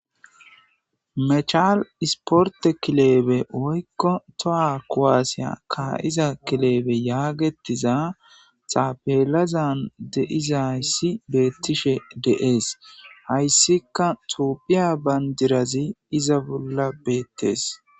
Mechal isporte kileebe oykko toha kowaasiya ka7iza kilebe yaagetiza taapelazan deizayssi beettishe de7ees hayssika tophiya bandirazi iza bolla beettes.